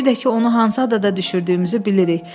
Bir də ki, onu hansı adada düşürdüyümüzü bilirik.